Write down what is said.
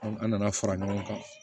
An an nana fara ɲɔgɔn kan